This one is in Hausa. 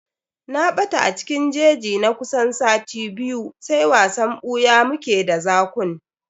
Na ɓata a cikin jeji na kusan sati biyu, sai wasan ɓuya mu ke d zakun.